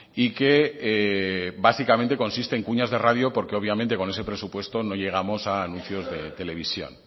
y que básicamente consiste en cuñas de radio porque obviamente con ese presupuesto no llegamos a anuncios de televisión